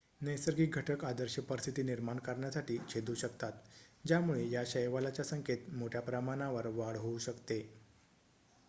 नैसर्गिक घटक आदर्श परिस्थिती निर्माण करण्यासाठी छेदू शकतात ज्यामुळे या शैवालच्या संख्येत मोठ्याप्रमाणावर वाढ होऊ शकते